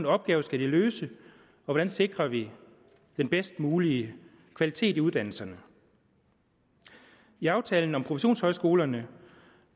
opgaver skal de løse hvordan sikrer vi den bedst mulige kvalitet i uddannelserne i aftalen om professionshøjskolerne